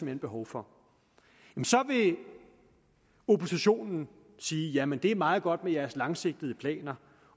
hen behov for så vil oppositionen sige jamen det er meget godt med jeres langsigtede planer